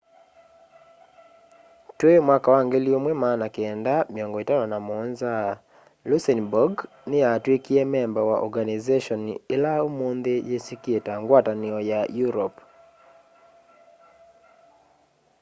twî 1957 luxembourg niyatwikie memba wa organization ila umunthi yisikie ta ngwatanio ya europe